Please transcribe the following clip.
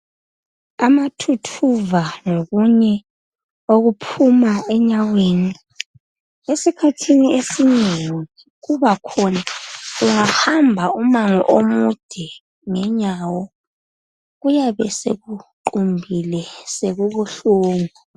Amathuthuva lokunye okophuma enyaweni, esikhathini esinengi kubakhona ungahamba umango omude ngenyawo, kuyabe sekuqumbile sekubuhlungu.